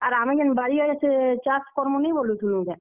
ଆଉ ଆମେ ଯେନ୍ ବାରି ଆଡେ ସେ ଚାଷ କରମୁଁ ନି ବଲୁଥିଲୁଁ କେଁ।